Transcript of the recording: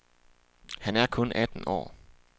Han er kun atten år.